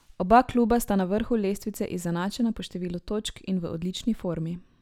Oba kluba sta na vrhu lestvice izenačena po številu točk in v odlični formi.